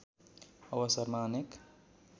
अवसरमा अनेक